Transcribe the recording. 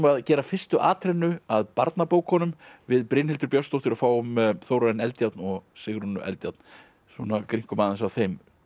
að gera fyrstu atrennu að barnabókunum við Brynhildur Björnsdóttir og fáum Þórarin Eldjárn og Sigrúnu Eldjárn svona grynnkum aðeins á þeim